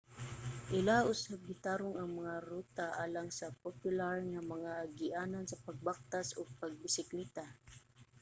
ilaha usab gitarong ang mga ruta alang sa popular nga mga agianan sa pagbaktas ug pagbisikleta